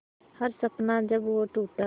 हर सपना जब वो टूटा